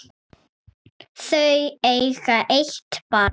Þau eiga eitt barn.